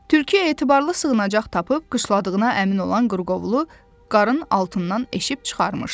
Tülkü etibarlı sığınacaq tapıb qışladığına əmin olan qırqovulu qarın altından eşib çıxarmışdı.